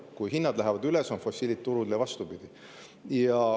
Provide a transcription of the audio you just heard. Kui hinnad lähevad üles, on fossiilid turul, ja vastupidi.